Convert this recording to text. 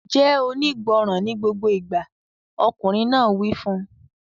Jẹ́ onígbọràn ní gbogbo ìgbà! Ọkùnrin náà wí fún un.